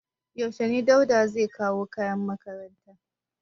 Yaushe Dauda zai kawo kayan makaranta?